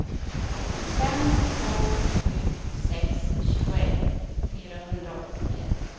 fem två sju sex tjugoett fyrahundraåttiofyra